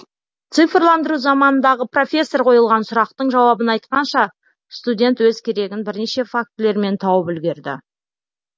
цифрландыру заманындағы профессор қойылған сұрақтың жауабын айтқанша студент өз керегін бірнеше фактілермен тауып үлгерді